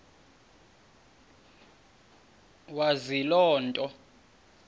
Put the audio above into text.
wazi loo nto